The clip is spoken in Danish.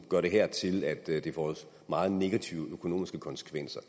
gøre det her til at det det får meget negative økonomiske konsekvenser